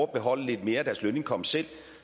beholde lidt mere af deres lønindkomst selv